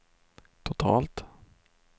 totalt